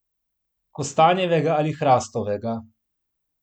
Kostanjevega ali hrastovega?